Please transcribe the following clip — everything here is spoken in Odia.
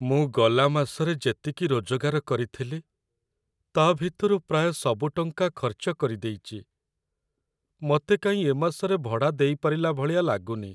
ମୁଁ ଗଲା ମାସରେ ଯେତିକି ରୋଜଗାର କରିଥିଲି ତା' ଭିତରୁ ପ୍ରାୟ ସବୁ ଟଙ୍କା ଖର୍ଚ୍ଚ କରିଦେଇଚି । ମତେ କାଇଁ ଏ ମାସରେ ଭଡ଼ା ଦେଇପାରିଲା ଭଳିଆ ଲାଗୁନି ।